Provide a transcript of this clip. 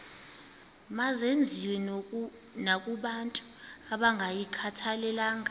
mazenziwe nakobantu abangayikhathalelanga